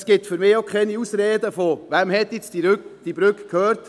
Es gibt für mich auch keine Ausreden wie «Wem hat die Brücke gehört?».